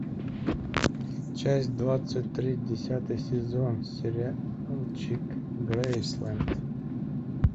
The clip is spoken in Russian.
часть двадцать три десятый сезон сериальчик грейсленд